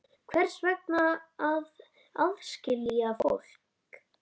Hvers vegna að aðskilja fólk?